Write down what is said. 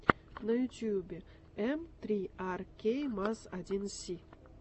на ютьюбе эм три ар кей маз один си